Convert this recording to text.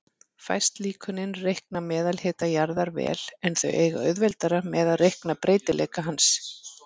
Fæst líkönin reikna meðalhita jarðar vel, en þau eiga auðveldara með að reikna breytileika hans.